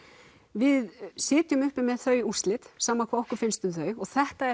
við sitjum uppi með þau úrslit sama hvað okkur finnst um þau og þetta